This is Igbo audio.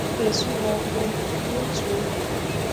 M ga-esu ha ọkụ n’otu oge.